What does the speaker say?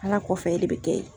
Ala kɔfɛ e de be kɛ yen.